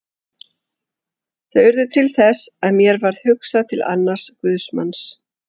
Þau urðu til þess að mér varð hugsað til annars guðsmanns.